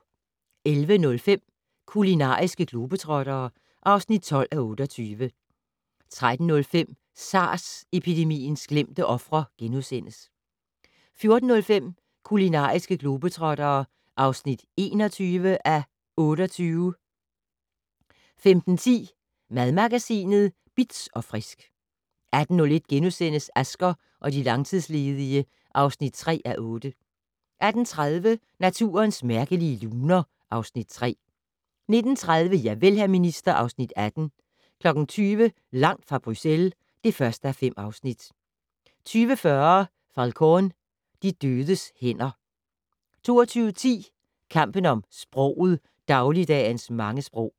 11:05: Kulinariske globetrottere (12:28) 13:05: SARS-epidemiens glemte ofre * 14:05: Kulinariske globetrottere (21:28) 15:10: Madmagasinet Bitz & Frisk 18:01: Asger og de langtidsledige (3:8)* 18:30: Naturens mærkelige luner (Afs. 3) 19:30: Javel, hr. minister (Afs. 18) 20:00: Langt fra Bruxelles (1:5) 20:40: Falcón: De dødes hænder 22:10: Kampen om sproget - Dagligdagens mange sprog